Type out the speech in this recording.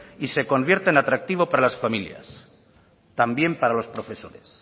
y se convierta en atractivo para las familias también para los profesores